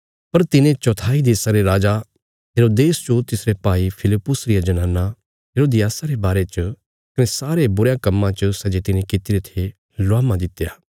पर तिने चौथाई देशा रे राजा हेरोदेस जो तिसरे भाई फिलिप्पुस रिया जनाना हेरोदियासा रे बारे च कने सारे बुरयां कम्मां च सै जे तिने कित्तिरे थे लुहामा दित्या